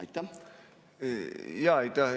Aitäh!